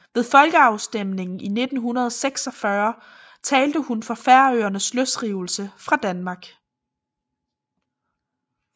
Ved folkeafstemningen i 1946 talte hun for Færøernes løsrivelse fra Danmark